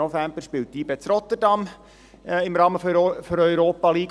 Am 7. November spielt YB in Rotterdam im Rahmen der Europa-League.